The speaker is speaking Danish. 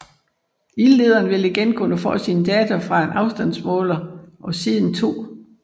Ildlederen vil igen kunne få sine data fra en afstandsmåler og siden 2